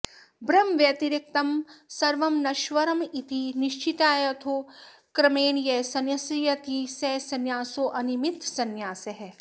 ब्रह्मव्यतिरिक्तं सर्वं नश्वरमिति निश्चित्याथो क्रमेण यः संन्यस्यति स संन्यासोऽनिमित्तसंन्यासः